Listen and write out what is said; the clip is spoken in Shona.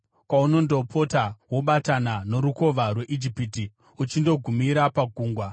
kwaunondopota, wobatana noRukova rweIjipiti uchindogumira paGungwa.